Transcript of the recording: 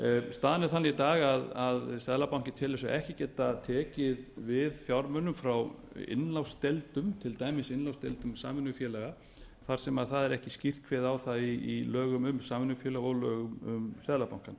staðan er þannig í dag að seðlabankinn telur sig ekki geta tekið við fjármunum frá innlánsdeildum til dæmis innlánsdeildum samvinnufélaga þar sem það er ekki skýrt kveðið á um það í lögum um samvinnufélög og lögum um seðlabankann